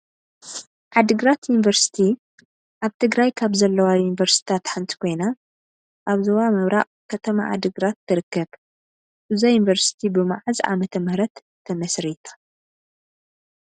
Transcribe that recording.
ዓዲግራት ዩኒቨርሲቲ ኣብ ትግራይ ካብ ዘለዋ ዩኒቨርሲቲታት ሓንቲ ኮይና ኣብ ዞባ ምብራቅ ከተማ ዓዲግራት ትርከብ። እዛ ዩኒቨርሲቲ ብ መዓዝ ዓመተ ምህረት ተመስሪታ???